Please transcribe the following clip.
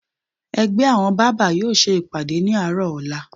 Ẹgbẹ́ àwọn bábà yóò ṣe ìpàdé ní àárọ̀ ọ̀la